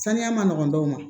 Saniya ma nɔgɔn dɔw ma